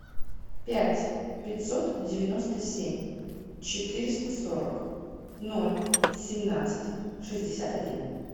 пять пятьсот девяносто семь четыреста сорок ноль семнадцать шестьдесят один